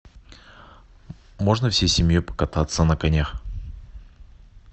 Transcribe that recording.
можно всей семьей покататься на конях